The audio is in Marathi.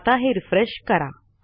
आता हे रिफ्रेश करा